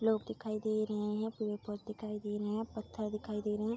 लोग दिखाई दे रहें हैं। पेड़ पग दिखाई दे रहें हैं। पत्थर दिखाई दे रहें हैं।